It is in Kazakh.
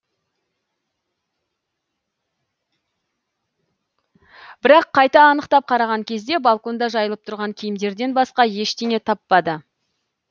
бірақ қайта анықтап қараған кезде балконда жайылып тұрған киімдерден басқа ештеңе таппады